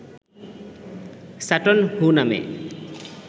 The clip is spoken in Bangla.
সাটন হু নামে